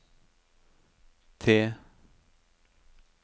T